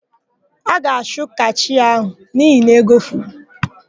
A ga-achụ kashịa áhụ̀ n'ihi na ego furu.